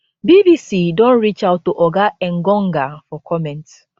bbc don reach out to oga engonga for comment